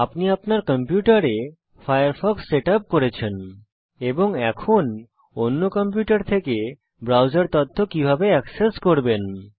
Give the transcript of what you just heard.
আপনি আপনার কম্পিউটারে ফায়ারফক্স সেটআপ করেছেন এবং এখন অন্য কম্পিউটার থেকে ব্রাউজার তথ্য কিভাবে এক্সেস করবেন